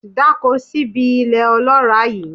Dáko síbi ilẹ̀ ọlọ́ràá yìí.